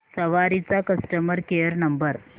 सवारी चा customer care number